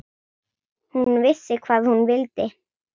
Hún vissi hvað hún vildi.